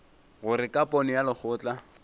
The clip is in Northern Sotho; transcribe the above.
gore ka pono ya lekgotla